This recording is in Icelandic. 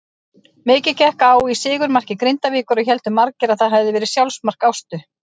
Mikið gekk á í sigurmarki Grindavíkur og héldu margir að það hafiði verið sjálfsmark Ástu.